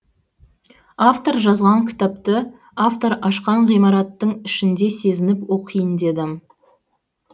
автор жазған кітапты автор ашқан ғимараттың ішінде сезініп оқиын дедім